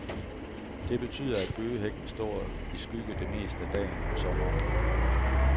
Det betyder, at bøgehækken står i skygge det meste af dagen om sommeren.